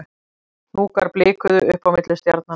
Hnúkar blikuðu uppi á milli stjarnanna